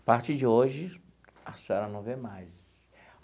A partir de hoje, a senhora não vê mais.